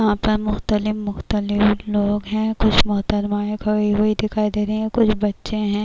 یہاں پر مختلف مختلف لوگ ہیں کچھ محترم ائے ہیں کھڑی ہوئی دکھائی دے رہی ہیں کچھ بچے ہیں-